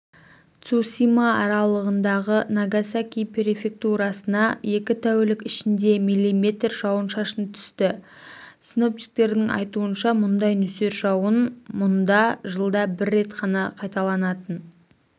цусима аралындағы нагасаки префектурасына екі тәулік ішінде миллиметр жауын-шашын түсті синоптиктердің айтуынша мұндай нөсер жауын мұнда жылда бір рет қана қайталанатын